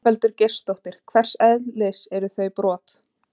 Ingveldur Geirsdóttir: Hvers eðlis eru þau brot?